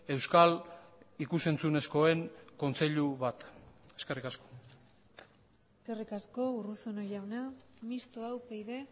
euskal ikus entzunezkoen kontseilu bat eskerrik asko eskerrik asko urruzuno jauna mistoa upyd